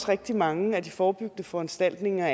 rigtig mange af de forebyggende foranstaltninger